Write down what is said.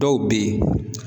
Dɔw be yen.